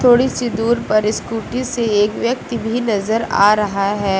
थोड़ी सी दूर पर स्कूटी से एक व्यक्ति भी नजर आ रहा है।